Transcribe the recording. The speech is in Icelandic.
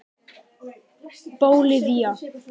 Bólivía